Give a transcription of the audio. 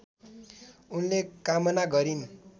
उनले कामना गरिन्